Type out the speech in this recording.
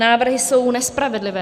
Návrhy jsou nespravedlivé.